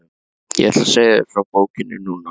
Ég ætla að segja þér frá bókinni núna.